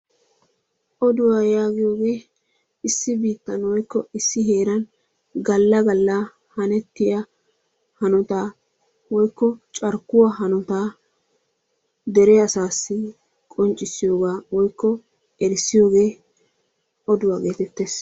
Oduwaa yagiyoge issi bittan woykko issi heran gala gala hanetiya hanotta woyko carkuwaa hanottaa deree asassi qonccissiyoga woyko erisiyoge oduwa getetees.